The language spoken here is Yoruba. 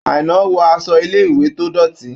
Àìná wọ aṣọ ilé-ìwé tó dọ̀tí.